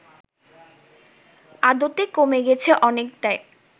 আদতে কমে গেছে অনেকটাই